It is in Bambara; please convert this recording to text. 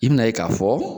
I bɛna ye k'a fɔ